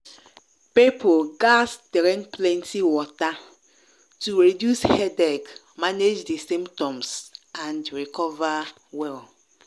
people gatz drink plenty water to reduce headache manage di symptoms and recover well.